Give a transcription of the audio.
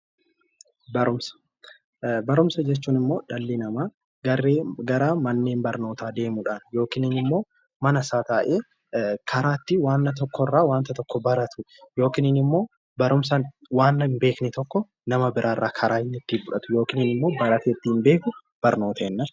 Barumsa jechuun immoo dhalli namaa garaa garaa manneen barnootaa deemuudhaan yookiin immoo mana isaa taa'ee karaa ittiin waanta tokkorraa waanta tokko baratu yookiin immoo barumsaan waan hin beekne tokko nama biraarraa karaa inni ittiin fudhatu yookiin immoo baratee ittiin beeku barnoota jenna jechuudha.